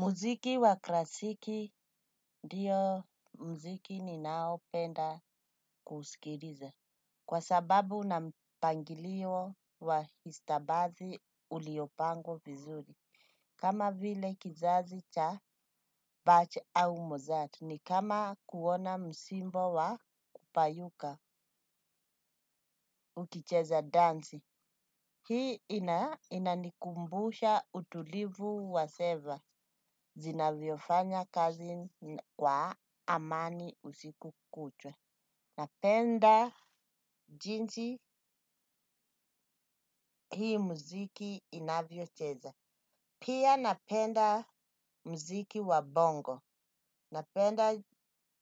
Muziki wa klasiki ndiyo mziki ni nao penda kusikiriza. Kwa sababu na mpangilio wa istabazi uliopangwa vizuri. Kama vile kizazi cha butch ama mozart ni kama kuona msimbo wa kupayuka ukicheza dansi. Hii inanikumbusha utulivu wa seva. Zinavyo fanya kazi kwa amani usiku kucha. Napenda jinsi hii muziki inavyo cheza. Pia napenda mziki wa bongo. Napenda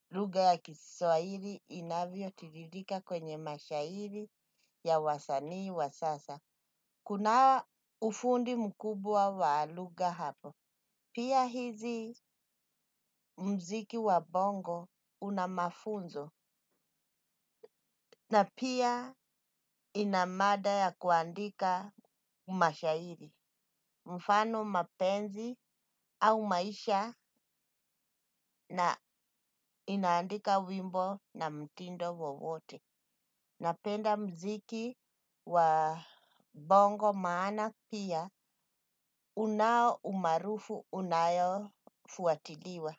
lugha ya kiswairi inavyo tiririka kwenye mashairi ya wasanii wa sasa. Kuna ufundi mkubwa wa luga hapo. Pia hizi mziki wa bongo unamafunzo na pia inamada ya kuandika mashairi, mfano mapenzi au maisha na inaandika wimbo na mtindo wowote. Napenda mziki wa bongo maana pia unao umarufu unayo fuatiliwa.